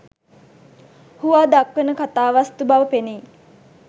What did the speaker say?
හුවා දක්වන කතා වස්තු බව පෙනෙයි.